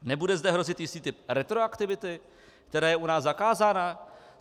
Nebude zde hrozit jistý typ retroaktivity, která je u nás zakázána?